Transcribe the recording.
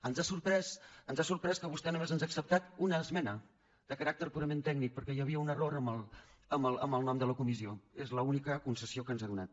ens ha sorprès que vostè només ens ha acceptat una esmena de caràcter purament tècnic perquè hi havia un error en el nom de la comissió és l’única concessió que ens ha donat